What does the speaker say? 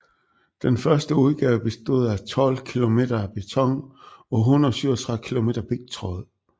Den første udgave bestod af tolv kilometer beton og 137 kilometer pigtråd